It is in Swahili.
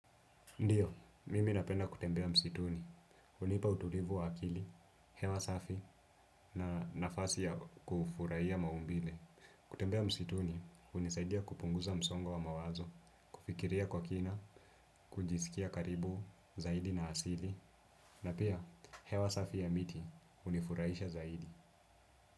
Ndiyo, mimi napenda kutembea msituni. Hunipa utulivu wa akili, hewa safi na nafasi ya kufurahia maumbile. Kutembea msituni, hunisaidia kupunguza msongo wa mawazo, kufikiria kwa kina, kujisikia karibu, zaidi na asili. Na pia, hewa safi ya miti, hunifurahisha zaidi.